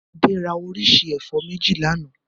Adé ra oríṣi ẹ̀fọ́ méjì lánàá?